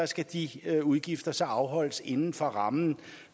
skal de udgifter så afholdes inden for rammen